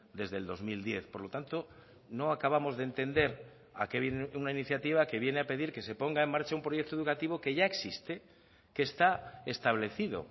desde el dos mil diez por lo tanto no acabamos de entender a qué viene una iniciativa que viene a pedir que se ponga en marcha un proyecto educativo que ya existe que está establecido